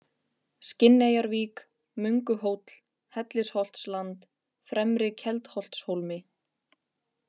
Skinneyjarvík, Mönguhóll, Hellisholtsland, Fremri-Keldholtshólmi